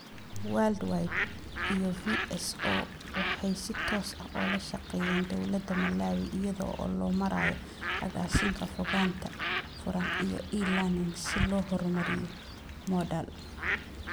Worldwide iyo VSO, waxay si toos ah ula shaqeeyeen dawladda Malawi iyada oo loo marayo Agaasinka Fogaanta Furan iyo E-Learning si loo horumariyo moodal.